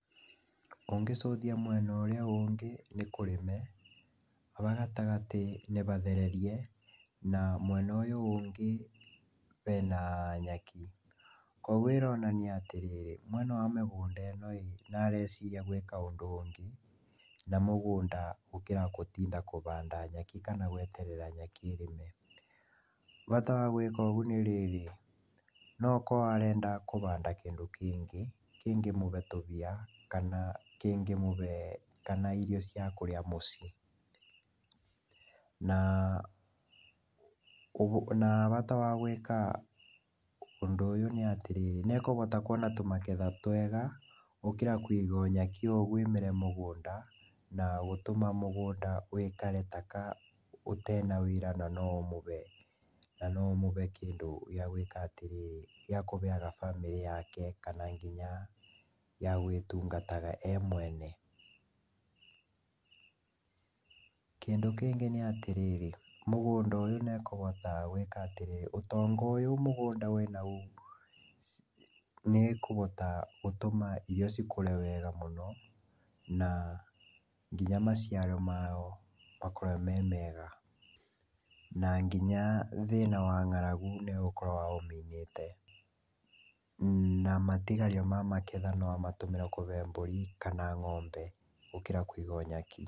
Ũngĩcuthia mwena ũrĩa ũngĩ nĩ kũrĩme, haha gatagatĩ nĩ bathererie, na mwena ũyũ ũngĩ hena nyaki. Koguo ĩronania atĩrĩrĩ mwene mĩgũnda ĩno ĩ, areciria gwĩka ũndũ ũngĩ na mũgũnda gũkĩra gũtinda kũhanda nyaki kana gweterera nyaki ĩrĩme. Bata wa gũĩka ũgũ nĩrĩrĩ, nokoroa arenda kũhanda kĩndũ kĩngĩ kĩngĩmũhe tũmbia kana kĩngĩmũhe kana irio cia kũrĩa mũcii. Na, na bata wa gũĩka ũndũ ũyũ nĩ atĩrĩrĩ nĩekũhota kwona tũmagetha twega gũkĩra kũiga nyaki ougu ĩmere mũgũnda na gũtũma mũgũnda wĩkare taka ũtena wĩra na noũmũhe kĩndũ gĩa gũĩka atĩrĩrĩ, gĩa kũheaga bamĩrĩ yake, kana nginya yagwĩtungataga e mwene. Kĩndũ kĩngĩ nĩ atĩrĩrĩ, mũgũnda ũyũ nĩekũhota gũĩka atĩrĩrĩ, ũtonga ũyũ wĩ mũgũnda nĩekũhota gũtũma irio cikũre wega mũno, na nginya maciaro mao makorwe me mega, na nginya thĩna wa ngaragu nĩgũkorwo amĩninĩte. Na matigario ma magetha no amatũmĩre kũhe mbũri kana ng'ombe gũkĩra kũiga nyeki.